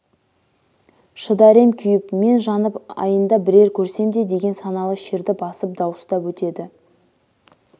шыдар ем күйіп мен жанып айында бірер көрсем де деген саналы шерді басып дауыстап өтеді